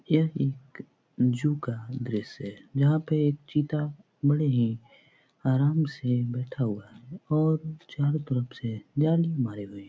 यह एक ज़ू का दृश्य है यहाँ पे एक चीता बड़े ही आराम से बैठा हुआ है और चारों तरफ से जाली मारे हुए हैं ।